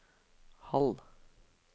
halv